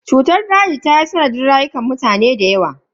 Cutar daji ta yi sanadin rayukan mutane da yawa.